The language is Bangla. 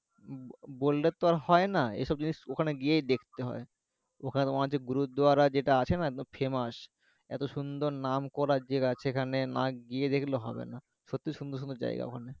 বললে তো আর হয়না এই সব জিনিস ওখানে গিয়েই দেখতে হয় ওখানে তোমার যে Gurudwara যেটা আছে না একদম famous এতো সুন্দর নাম করা জেগা সেখানে না গিয়ে দেখলে হবে না সত্যি সুন্দর সুন্দর জায়গা ওখানে